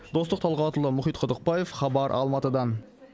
достық талғатұлы мұхит құдықбаев хабар алматыдан